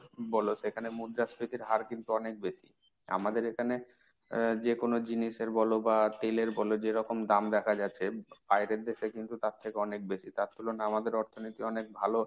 বলো সেখানে মুদ্রাস্ফীতির হার কিন্তু অনেক বেশি। আমাদের এখানে আহ যে কোন জিনিসের বলো বা তেলের বলো যেরকম দাম দেখা যাচ্ছে। বাইরের দেশের কিন্তু তার থেকে অনেক বেশি। তার তুলনায় আমাদের অর্থনীতি অনেক ভালো,